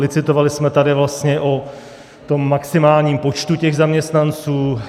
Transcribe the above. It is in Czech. Licitovali jsme tady vlastně o tom maximálním počtu těch zaměstnanců.